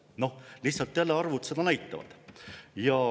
Noh, lihtsalt jälle arvud seda näitavad.